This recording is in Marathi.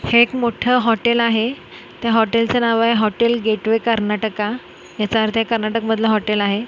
हे एक मोठा हॉटेल आहे त्या हॉटेलचं नाव आहे हॉटेल गेटवे कर्नाटका याचा अर्थ हे कर्नाटक मधल हॉटेल आहे.